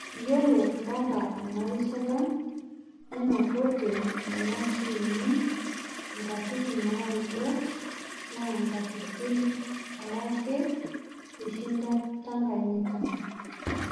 Yiolok mpaka emnarishata nenototote nena tiimi inkatitin naudo naa inkatititn are ake ishinda Tanganyika